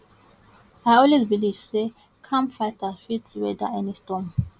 i always believe say calm fighter fit weather any storm